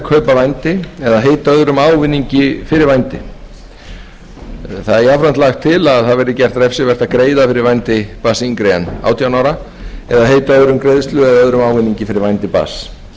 öðrum ávinningi fyrir vændi jafnframt er lagt til að það verði gert refsivert að greiða fyrir vændi barns yngra en átján ára eða heita öðrum greiðslu eða öðrum ávinningi fyrir vændi barns